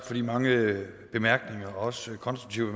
for de mange bemærkninger og også konstruktive